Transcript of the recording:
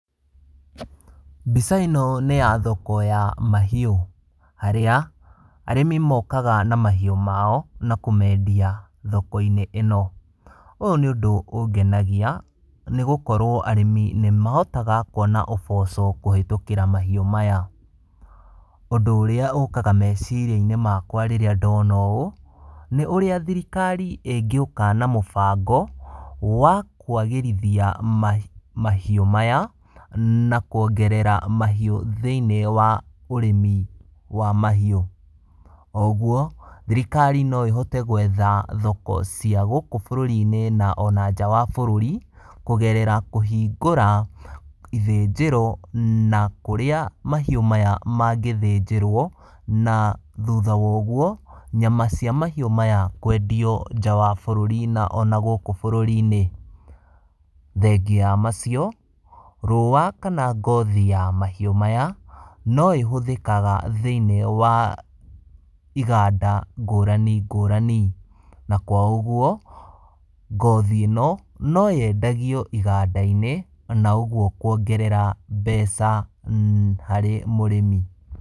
Mbica ĩno nĩ ya thoko ya mahiũ, harĩa arĩmi mokaga na mahiũ mao na kũmendia thoko-inĩ ĩno, ũyũ nĩ ũndũ ũngenagia nĩgũkorwo arĩmi nĩmahotaga kwona ũboco kũhĩtũkĩra mahiũ maya, ũndũ ũrĩa ũkaga meciri-inĩ makwa rĩrĩa ndona ũũ, nĩ ũrĩa thirikari ĩngĩũka na mũbango wa kwagĩrithia mahiũ maya na kuongerera mahiũ thĩiniĩ wa ũrĩmi wa mahi , oũguo thirikari noĩhote gwetha thoko cia gũkũ bũrũri-inĩ na ona nja ya bũrũri, kũgerera kũhingũra ithĩnjĩro na kũria mahiũ maya mangĩthĩnjĩrwo, na thutha wa ũguo nyama cia mahiũ maya kwendio nja ya bũrũri na ona gũkũ bũrũri-inĩ, thengia wa macio rũa kana ngothi ya mahiũ maya, noĩhũthĩkaga thĩiniĩ wa iganda ngũrani ngũrani na kwa ũguo, ngothi ĩno nĩyendagio iganda-inĩ na ũguo kuongerera mbeca harĩ mũrĩmi.